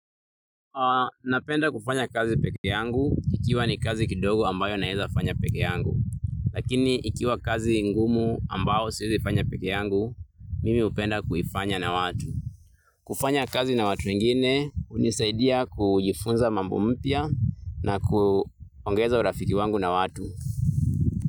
Napenda kufanya kazi pekee yangu, ikiwa ni kazi kidogo ambayo naeza fanya pekee yangu. Lakini ikiwa kazi ngumu ambao siezi fanya pekee yangu, mimi hupenda kuifanya na watu. Kufanya kazi na watu wengine, hunisaidia kujifunza mambo mpya na kuongeza urafiki wangu na watu.